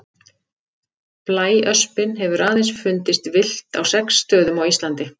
Blæöspin hefur aðeins fundist villt á sex stöðum á Íslandi.